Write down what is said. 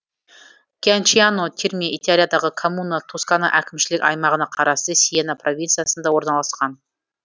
кьянчиано терме италиядағы коммуна тоскана әкімшілік аймағына қарасты сиена провинциясында орналасқан